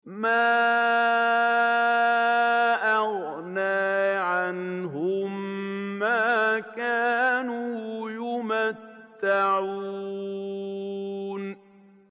مَا أَغْنَىٰ عَنْهُم مَّا كَانُوا يُمَتَّعُونَ